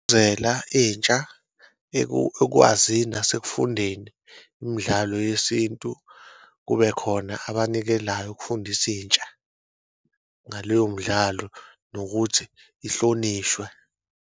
Entsha nasekufundeni imidlalo yesintu, kube khona abanikelayo ukufundisa intsha ngaleyo mdlalo nokuthi kuhlonishwe.